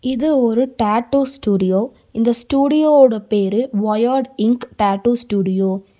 இது ஒரு tattoo studio இந்த ஸ்டூடியோ ஓட பேரு வயட் இன்க் டாட்டூ ஸ்டூடியோ .